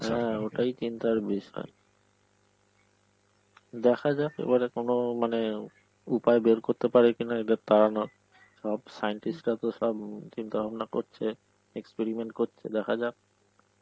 ওটাই চিন্তার বিষয়, দেখা যাক এবারে কোন মানে উপায় বের করতে পারে কিনা এদের তাড়ানোর, সব scientist রা তো সব চিন্তাভাবনা করছে, experiment করছে, দেখা যাক